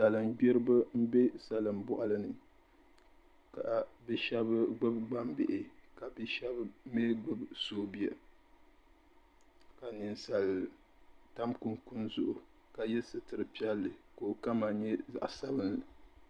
Salingbiriba m be salin'boɣali ni ka bɛ sheba gbibi gbambihi ka bɛ sheba mee gbibi aoobuya ka Ninsali tam kunkuni zuɣu ka ye sitiri piɛli ka okama nyɛ zaɣa sabinli.